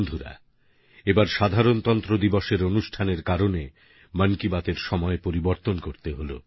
বন্ধুরা এবার সাধারনতন্ত্র দিবসের অনুষ্ঠানের কারণে মন কি বাতের সময় পরিবর্তন করতে হল